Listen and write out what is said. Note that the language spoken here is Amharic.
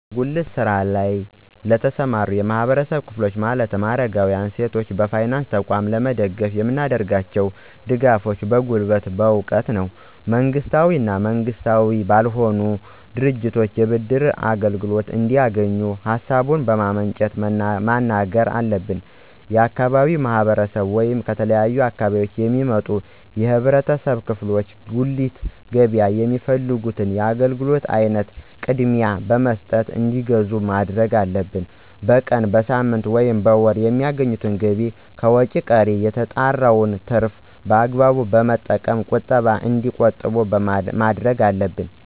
በጉሊት ስራ ለይ ለተሰማሩ የህብረተሰብ ክፍሎች ማለትም አረጋውያን፣ ሴቶችን በፋይናንስ ተቋም ለመደገፍ የምናደርጋቸው ድጋፎች በጉልበት፣ በእውቀት ነው። መንግስታዊ እና መንግስታዊ ባልሆኑ ድርጅቶች የብድር አገልግሎት እንዲያገኙ ሀሳቡን በማመንጨት መናገር አለብን። የአካባቢው ማህረሰብ ወይም ከተለያዩ አካባቢዎች የሚመጡ የህብረተሰብ ክፍሎች ከጉሊት ገበያ የሚፈልጉት የአገልግሎት አይነት ቅድሚያ በመስጠት እንዲገዙ ማድረግ አለብን። በቀን፣ በሳምንት፣ ወይም በወር የሚያገኙትን ገቢ ከወጭ ቀሪ የተጣራውን ትርፍ በአግባቡ በመጠቀም ቁጠባ እንዲቆጥቡ ማድረግ አለብን።